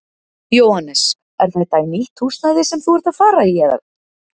Jóhannes: Er þetta í nýtt húsnæði sem þú ert að fara í eða?